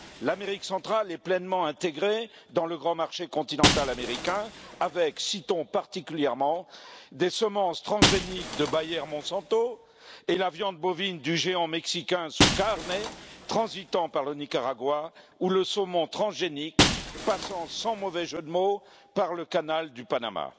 L'Amérique centrale est pleinement intégrée dans le grand marché continental américain citons particulièrement les semences transgéniques de Bayer Monsanto, la viande bovine du géant mexicain SuKarne transitant par le Nicaragua, ou le saumon transgénique passant, sans mauvais jeu de mots, par le canal du Panama.